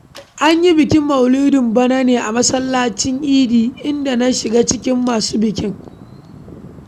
An yi bikin maulidin bana ne a masallacin idi, inda na shiga cikin masu bikin.